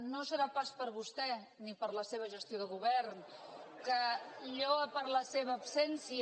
no serà pas per vostè ni per la seva gestió de govern que lluu per la seva absència